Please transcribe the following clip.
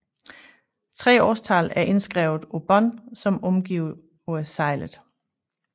Tre årstal er indskrevet på bånd som omgiver seglet